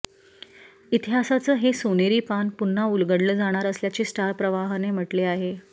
इतिहासाचं हे सोनेरी पान पुन्हा उलगडलं जाणार असल्याचे स्टार प्रवाहने म्हटले आहे